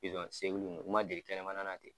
Pizɔn segulu u man deli kɛnɛmana na ten.